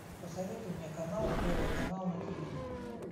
посоветуй мне канал первый канал на тв